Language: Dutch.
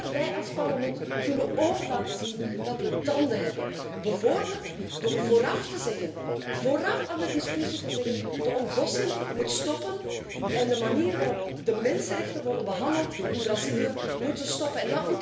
Maar wij als Parlement kunnen ook laten zien dat we tanden hebben, bijvoorbeeld door voorafgaand aan de discussie te zeggen de ontbossing moet stoppen en de manier waarop de mensenrechten worden behandeld in Brazilië moet stoppen.